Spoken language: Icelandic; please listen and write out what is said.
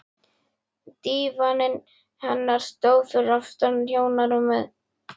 Dívaninn hennar stóð fyrir aftan hjónarúmið.